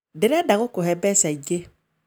Ndĩrenda gũkũhe mbeca ingĩ